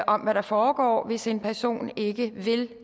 om hvad der foregår hvis en person ikke vil